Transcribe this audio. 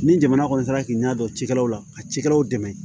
Ni jamana kɔni taara k'i ɲɛ dɔn cikɛlaw la ka cikɛlaw dɛmɛ